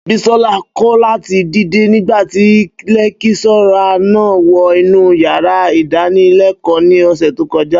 Bísọ́lá kọ̀ láti dìde nígbátì lẹ́kíṣọ́rà náà wọ inú yàrá ìdánilẹ́kọ̀ọ́ ní ọ̀sẹ̀ tó kọjá